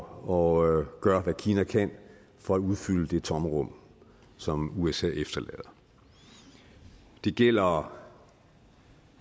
og gør hvad kina kan for at udfylde det tomrum som usa efterlader det gælder